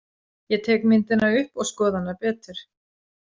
Ég tek myndina upp og skoða hana betur.